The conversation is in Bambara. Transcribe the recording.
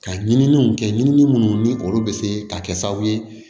Ka ɲininiw kɛ ɲinini munnu ni olu bɛ se ka kɛ sababu ye